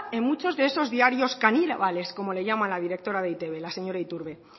en muchos de esos diarios caníbales como le llama la directora de e i te be la señora iturbe